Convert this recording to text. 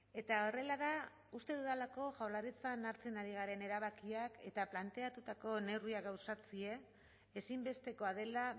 eta horrela da uste dudalako jaurlaritzan hartzen ari garen erabakiak eta planteatutako neurriak gauzatzea ezinbestekoa dela